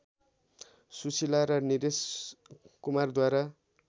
सुशीला र निरेश कुमारद्वारा